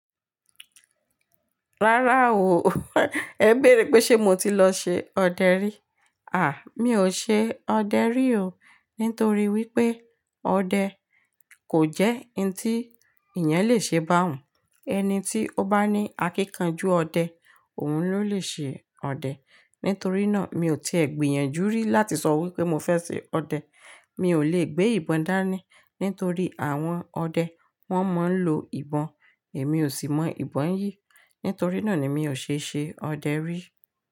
Rárá o, ẹ bèèrè pé ṣe mo ti lọ ṣe ọdẹ rí? À, mi ò ṣe ọdẹ rí o nítorí wípé ọdẹ kò jẹ́ ohun tí èèyàn lè ṣe bá un. Ẹni tí ó bá ní akíkanjú ọdẹ, òun ló lè ṣe ọdẹ. Nítorí náà, mi ò tiẹ̀ gbìyànjú rí láti sọ wípé mo fẹ́ ṣe ọdẹ. Mi ò lè gbé ìbọn dání nítorí àwọn ọdẹ, wón máa ń lo ìbọn, èmi ò sì mọ ìbọn yìí. Nítorí náà ni mi ò ṣe ṣe ọdẹ rí.